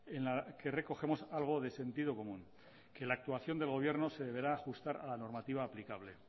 en la que recogemos algo de sentido común que la actuación del gobierno de deberá ajustar a la normativa aplicable